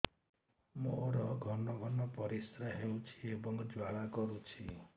ମୋର ଘନ ଘନ ପରିଶ୍ରା ହେଉଛି ଏବଂ ଜ୍ୱାଳା କରୁଛି